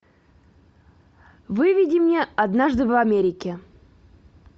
выведи мне однажды в америке